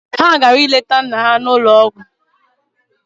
Ha gara ileta nna ha n'ụlọ ọgwụ.